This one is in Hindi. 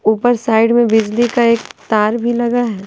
ऊपर साइड में बिजली का एक तार भी लगा है।